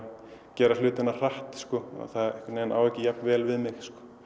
gera hlutina hratt það á ekki jafn vel við mig